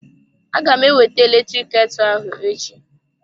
Aga m ewete eletrik ketu ahụ echi.